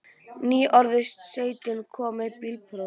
Nýorðinn sautján og kominn með bílpróf.